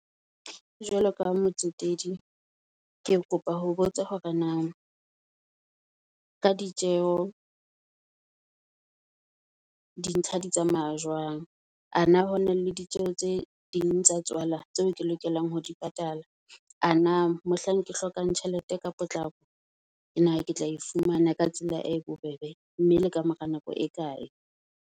Jwalo ka motsetedi ke kopa ho botsa hore na ka ditjeho di ntlha di tsamaya jwang. A na hona le ditjeho tse ding tsa tswala tseo ke lokelang ho di patala? A na mohlang ke hlokang tjhelete ka potlako na ketla e fumana ka tsela e bo bebe, mme le kamora nako e kae?